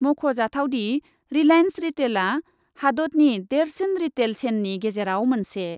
मख ' जाथावदि , रिलाइन्स रिटेलआ हादतनि देरसिन रिटेल सेननि गेजेराव मोनसे ।